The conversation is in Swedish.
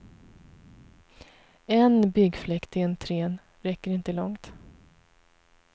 En byggfläkt i entrén räcker inte långt.